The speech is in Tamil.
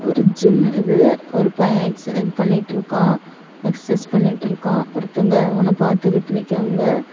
ஒரு ஜிம் இது ஒரு பைய எக்ஸ் இது பண்ணிட்டு இருக்கா எக்சசைஸ் பண்ணிட்டு இருக்கா ஒருத்தங்க அவன பாத்துகிட்டு நிக்கியாங்க.